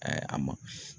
a ma